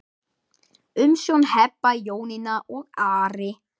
Umsjón Heba, Jónína og Ari.